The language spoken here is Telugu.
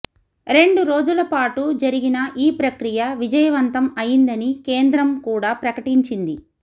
రెండు రోజుల పాటూ జరిగిన ఈప్రక్రియ విజయవంతం అయిందని కేంద్రం కూడా ప్రకటించింది